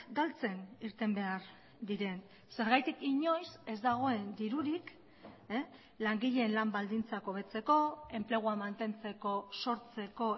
galtzen irten behar diren zergatik inoiz ez dagoen dirurik langileen lan baldintzak hobetzeko enplegua mantentzeko sortzeko